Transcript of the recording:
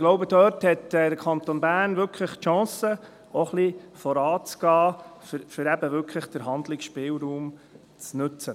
Ich glaube, dort hat der Kanton Bern wirklich die Chance, auch ein wenig voranzugehen, um den Handlungsspielraum wirklich zu nutzen.